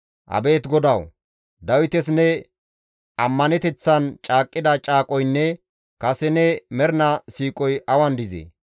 Abeet Godawu! Dawites ne ammaneteththan caaqqida caaqoynne kase ne mernaa siiqoy awan dizee?